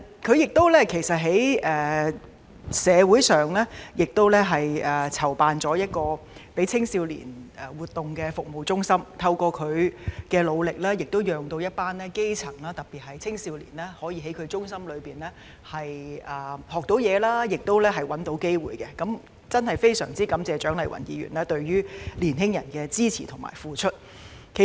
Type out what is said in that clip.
她在社會上亦籌辦了一個向青少年提供活動的服務中心，透過她的努力，讓一群基層人士，特別是青少年，可以在中心學習及尋找機會，真的非常感謝蔣麗芸議員對青年人的支持及付出。